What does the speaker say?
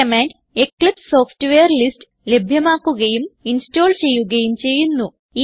ഈ command Eclipse software list ലഭ്യമാക്കുകയും install ചെയ്യുകയും ചെയ്യുന്നു